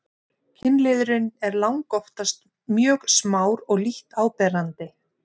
kynliðurinn er langoftast mjög smár og lítt áberandi